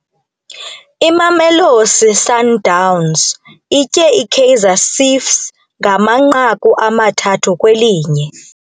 Imamelosi Sundowns itye iKaizer Ciefs ngamanqaku amathathu kwelinye.